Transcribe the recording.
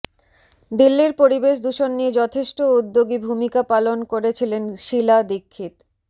দিল্লির পরিবেশ দূষণ নিয়ে যথেষ্ট উদ্যোগী ভুমিকা পালন করেছিলেন শীলা দীক্ষিত